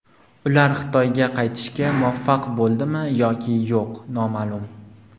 Ular Xitoyga qaytishga muvaffaq bo‘ldimi yoki yo‘q noma’lum.